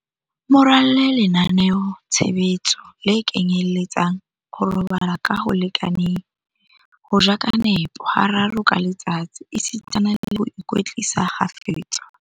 Mo ralle lenaneotshebetso le kenyeletsang, ho robala ka ho lekaneng, ho ja ka nepo hararo ka letsatsi esitana le ho ikwetlisa kgafetsa.